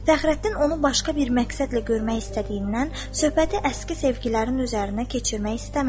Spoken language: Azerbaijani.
Fəxrəddin onu başqa bir məqsədlə görmək istədiyindən söhbəti əski sevgilərin üzərinə keçirmək istəmədi.